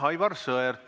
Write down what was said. Aivar Sõerd, palun!